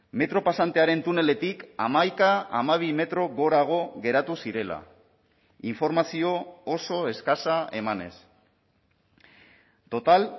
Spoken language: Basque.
metro pasantearen tuneletik hamaika hamabi metro gorago geratu zirela informazio oso eskasa emanez total